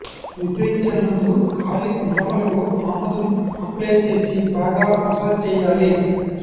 నిద్రించే ముందు కాలి మడమలకు ఆముదం అప్లై చేసి బాగా మసాజ్ చేయాలి